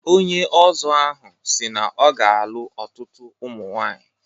Onye Ọzọ ahụ si na ọ ga-alụ ọtutu ụmụ nwaanyi.